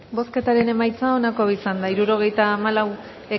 bozketaren emaitza onako izan da hirurogeita hamalau